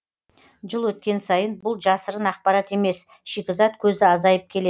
жыл өткен сайын бұл жасырын ақпарат емес шикізат көзі азайып келеді